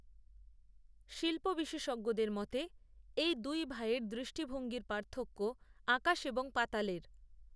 শিল্প বিশেষজ্ঞদের মতে এই দুই ভাইয়ের দৃষ্টিভঙ্গির পার্থক্য আকাশএবং পাতালের